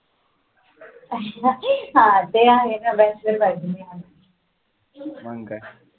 हा ते आहे न bachelor party मंग की